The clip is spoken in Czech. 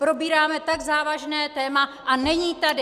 Probíráme tak závažné téma a není tady!